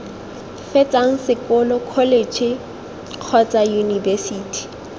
fetsang sekolo kholetšhe kgotsa yunibesithi